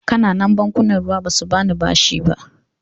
Ƙananan bankunan ruwa ba su ba ni bashi ba.